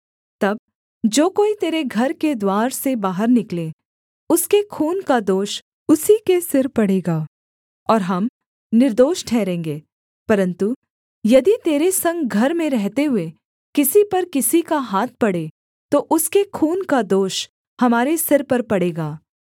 तब जो कोई तेरे घर के द्वार से बाहर निकले उसके खून का दोष उसी के सिर पड़ेगा और हम निर्दोष ठहरेंगे परन्तु यदि तेरे संग घर में रहते हुए किसी पर किसी का हाथ पड़े तो उसके खून का दोष हमारे सिर पर पड़ेगा